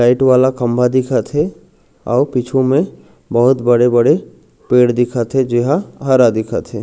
Light वाला खम्भा दिखत हे अउ पिछु में बहुत बड़े-बड़े पेड़ दिखत हे जो ह हरा दिखत हे।